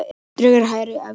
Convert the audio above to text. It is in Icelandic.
Dregur hægar úr atvinnuleysi